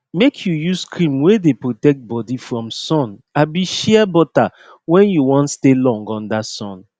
make u use cream wey dey protect body from sun abi shea butter when u wan stay long under sun